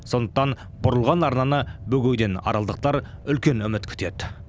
сондықтан бұрылған арнаны бөгеуден аралдықтар үлкен үміт күтеді